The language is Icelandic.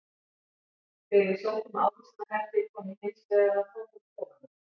Þegar ég sótti um ávísanahefti kom ég hins vegar að tómum kofanum.